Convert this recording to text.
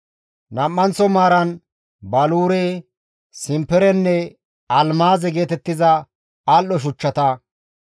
Nam7anththo maaran baluure, simperenne almaaze geetettiza al7o shuchchata;